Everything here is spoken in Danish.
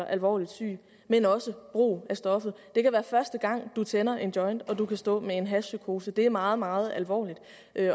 alvorligt syg men også brug af stoffet det kan være første gang man tænder en joint og man kan stå med en hashpsykose det er meget meget alvorligt